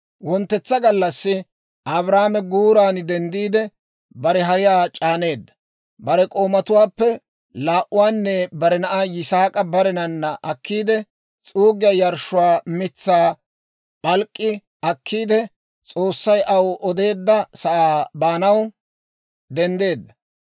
Wonttetsa gallassi Abrahaame guuran denddiide, bare hariyaa c'aaneedda; bare k'oomatuwaappe laa"uwaanne bare na'aa Yisaak'a barenana akkiide, s'uuggiyaa yarshshuwaa mitsaa p'alk'k'i akkiide, S'oossay aw odeedda sa'aa baanaw denddeedda.